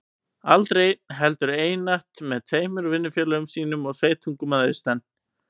Aldrei einn, heldur einatt með tveimur vinnufélögum sínum og sveitungum að austan.